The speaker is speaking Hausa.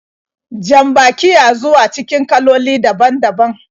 Jan-baki ya zuwa cikin kaloli daban-daban.